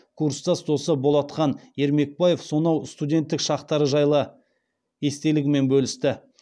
курстас досы болатхан ермекбаев сонау студенттік шақтары жайлы естелігімен бөлісті